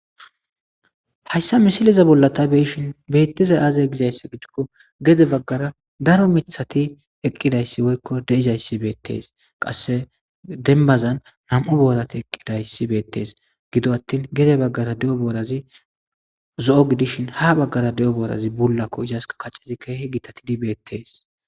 Hayssa misileza bolla tay be7ishin beetizay aaze gizayssa giddiko gede baggara daro miththati eqqidayssi woyko de7izayssi betes qasse dembbazan nam77u boorati eqqidayssi betees gido atin gede baggara diza boorazi zo7o gidishin ha baggara diza boorazi bullako izaska kacezi keehi gitatidi betees.